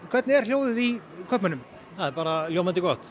hvernig er hljóð í kaupmönnum ljómandi gott